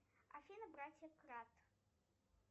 афина братья крат